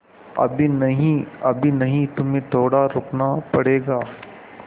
अभी नहीं अभी नहीं तुम्हें थोड़ा रुकना पड़ेगा